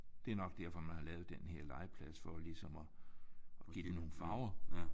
Det er nok derfor man har lavet den her legeplads for ligesom at give det nogle farver